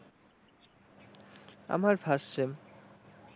আমার first sem,